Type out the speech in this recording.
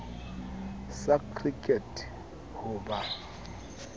sa cricket ka ho ba